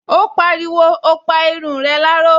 Ó pariwo, "O pa irun rẹ láró"